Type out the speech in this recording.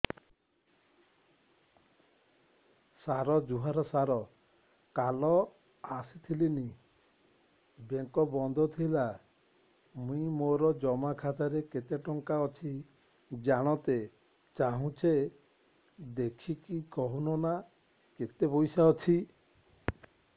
ସାର ଜୁହାର ସାର କାଲ ଆସିଥିନି ବେଙ୍କ ବନ୍ଦ ଥିଲା ମୁଇଁ ମୋର ଜମା ଖାତାରେ କେତେ ଟଙ୍କା ଅଛି ଜାଣତେ ଚାହୁଁଛେ ଦେଖିକି କହୁନ ନା କେତ ପଇସା ଅଛି